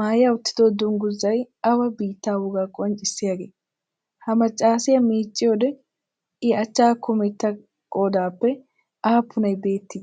maaya uttido dungguzzayi awa biittaa wogaa qonccissiyaagee? Ha maccaasiyaa miicciyoode i achchatu kumetta qoodaappe aappunayi beettii?